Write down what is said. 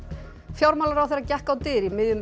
fjármálaráðherra gekk á dyr í miðjum